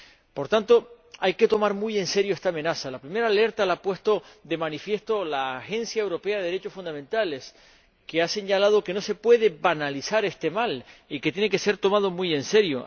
Por tanto, hay que tomar muy en serio esta amenaza la primera alerta la ha puesto de manifiesto la Agencia Europea de los Derechos Fundamentales, que ha señalado que no se puede banalizar este mal y que tiene que ser tomado muy en serio.